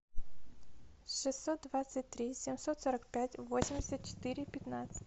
шестьсот двадцать три семьсот сорок пять восемьдесят четыре пятнадцать